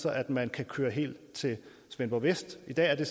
at man kan køre helt til svendborg vest i dag er det